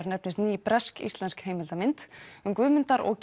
nefnist ný bresk íslensk heimildarmynd um Guðmundar og